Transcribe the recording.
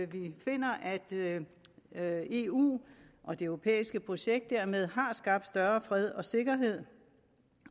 vi finder at eu og det europæiske projekt dermed har skabt større fred sikkerhed